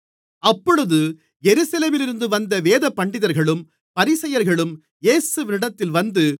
அப்பொழுது எருசலேமிலிருந்து வந்த வேதபண்டிதர்களும் பரிசேயர்களும் இயேசுவினிடத்தில் வந்து